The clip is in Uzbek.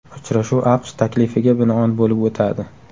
Uchrashuv AQSh taklifiga binoan bo‘lib o‘tadi.